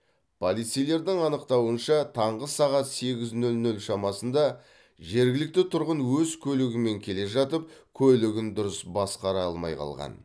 полицейлердің анықтауынша таңғы сағат сегіз нөл нөл шамасында жергілікті тұрғын өз көлігімен келе жатып көлігін дұрыс басқара алмай қалған